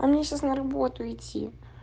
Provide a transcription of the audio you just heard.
а мне сейчас на работу идти